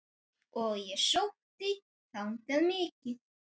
Og ég sótti þangað mikið.